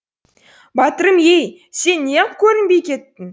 батырым ей сен неғып көрінбей кеттің